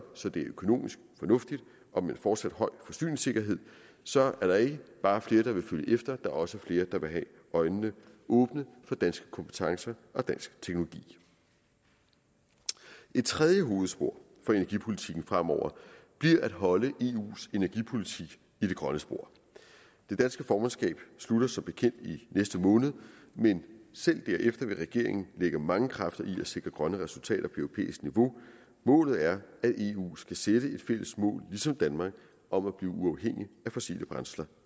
så det er økonomisk fornuftigt og med fortsat høj forsyningssikkerhed så er der ikke bare flere der vil følge efter er også flere der vil have øjnene åbne for danske kompetencer og dansk teknologi et tredje hovedspor for energipolitikken fremover bliver at holde eus energipolitik i det grønne spor det danske formandskab slutter som bekendt i næste måned men selv derefter vil regeringen lægge mange kræfter i at sikre grønne resultater på europæisk niveau målet er at eu skal sætte et fælles mål ligesom danmark om at blive uafhængig af fossile brændsler